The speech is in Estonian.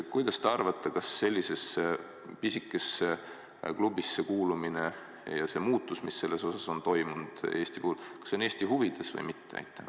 Kuidas te arvate, kas sellisesse pisikesse klubisse kuulumine ja see muutus, mis siin on Eesti puhul toimunud, on Eesti huvides või mitte?